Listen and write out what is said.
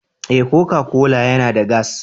Eh Coca-Cola yana da gas.